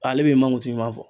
Ale b'e mankutu ɲuman fɔ